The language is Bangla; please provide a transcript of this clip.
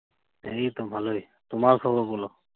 এইতো ভালোই। তোমার খবর বলো।